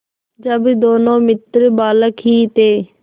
जब दोनों मित्र बालक ही थे